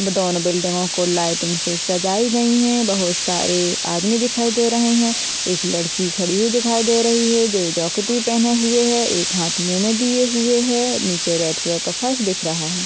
वो दोनों बिल्डिंगों को लाइटिंग से सजाई गई हैं बहुत सारे आदमी दिखाई दे रहे हैं एक लड़की खड़ी हुई दिखाई दे रही है जो जॉकेट भी पहने हुए है एक हाथ मुँह में दिए हुए है नीचे रेड कलर का फर्श दिख रहा है।